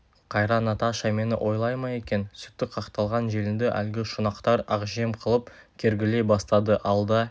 қайран наташа мені ойлай ма екен сүті қақталған желінді әлгі шұнақтар ақжем қылып кергілей бастады алда